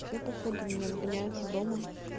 всё походу меня выгоняют из дома